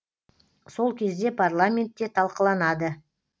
сол кезде парламентте талқыланады